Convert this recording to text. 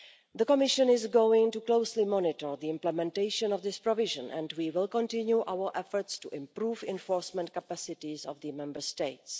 The Commission is going to closely monitor the implementation of this provision, and we will continue our efforts to improve the enforcement capacities of the Member States.